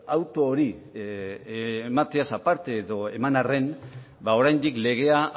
auto hori emateaz aparte edo eman arren oraindik legea